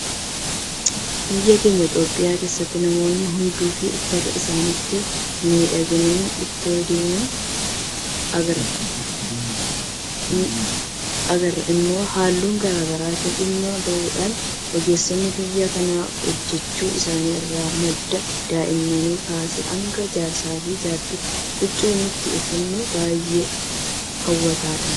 Biyya keenya Itoophiyaa keessatti namoonni hedduun uffata isaaniitiin miidhaganii itoo deemanii agarra. Kun immoo halluuwwan garaa garaatti dhimma bahuudhaan ogeessonni biyya kanaa hojjechuu isaanii irraa madda. Daa'immanii kaasee hanga jaarsaafi jaartiitti huccuun nuti uffannu baay'ee hawwataadha.